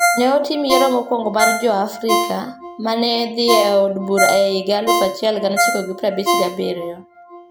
Ne otim yiero mokwongo mar Jo-Afrika ma ne dhi e od bura e higa 1957.